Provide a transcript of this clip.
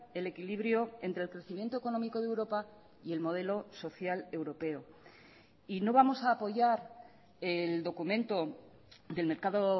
el equilibrio entre el crecimiento económico de europa y el modelo social europeo y no vamos a apoyar el documento del mercado